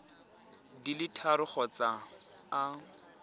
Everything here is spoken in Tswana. di le tharo kgotsa a